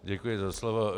Děkuji za slovo.